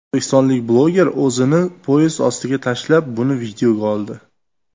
O‘zbekistonlik bloger o‘zini poyezd ostiga tashlab, buni videoga oldi.